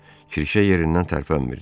Kirşə yerindən tərpənmirdi.